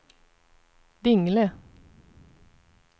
Dingle